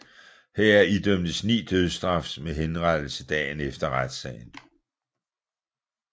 Heraf idømtes ni dødsstraf med henrettelse dagen efter retssagen